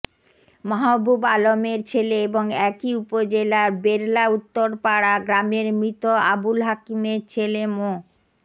মাহবুব আলমের ছেলে এবং একই উপজেলার বেরলা উত্তরপাড়া গ্রামের মৃত আবুল হাকিমের ছেলে মো